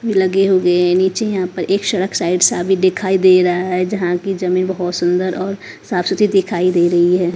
लगे हुए हैं नीचे यहां पर एक शढ़क साइड सा भी दिखाई दे रहा है जहां की जमीन बहुत सुंदर और साफ सुथरी दिखाई दे रही है ।